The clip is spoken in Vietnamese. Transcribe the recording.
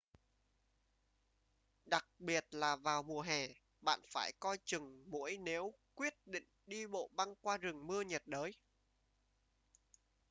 đặc biệt là vào mùa hè bạn phải coi chừng muỗi nếu quyết định đi bộ băng qua rừng mưa nhiệt đới